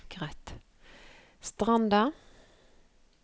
Stranda